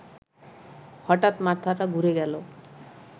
হঠাৎ মাথাটা ঘুরে গেল